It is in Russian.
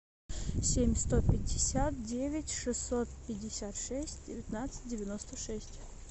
семь сто пятьдесят девять шестьсот пятьдесят шесть девятнадцать девяносто шесть